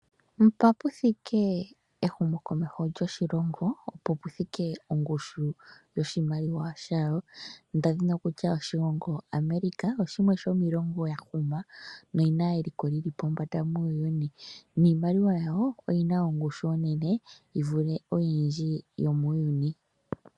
Mpa puthike ehumokomeho lyoshilongo, opo pu thike ongushu yoshimaliwa shawo nda dhini okutumbula oshilongo America oshimwe shomiilongo ya huma noyi na eliko li li pombanda muuyuni, niimaliwa yawo oyi na ongushu yi li pombanda unene yi vule oyindji yomuuyuni.